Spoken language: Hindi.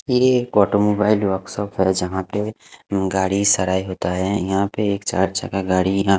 ये कोटम वाइड वर्क शॉप है जहाँ पे गाडी सराई होता है यहाँ पे एक चार चक्का गाडी या--